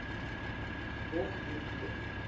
hof hier lees